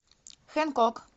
хэнкок